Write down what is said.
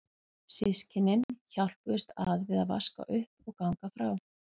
Systkynin hjálpuðust að við að vaska upp og ganga frá.